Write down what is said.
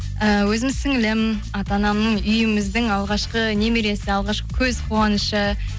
ііі өзімнің сіңлілім ата анамның үйіміздің алғашқы немересі алғашқы көз қуанышы